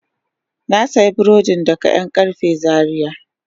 Na sayi burodin daga yankarfe Zaria.